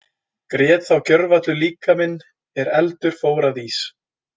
Grét þá gjörvallur líkaminn er eldur fór að ís.